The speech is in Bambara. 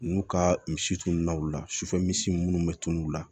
N'u ka misi tununa u la sufɛ misi munnu be tunun o la